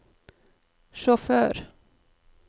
sjåfør